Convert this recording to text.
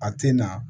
A tɛ na